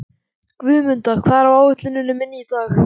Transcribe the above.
Guðmunda, hvað er á áætluninni minni í dag?